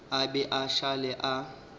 a be a šale a